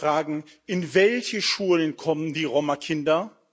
Wir müssen auch fragen, in welche Schulen kommen die Roma Kinder?